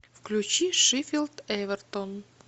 включи шеффилд эвертон